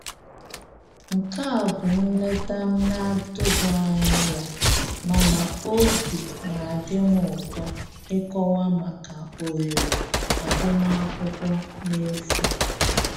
Nke a bụ nleta m na-atụghị anya ya mana obi na adị m ụtọ ịkọwa maka ohere agụmakwụkwọ n'efu